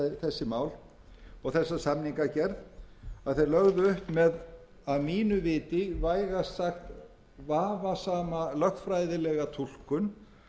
þessi mál og þessa samningagerð að þeir lögðu upp með að mínu viti vægast sagt vafasama lögfræðilega túlkun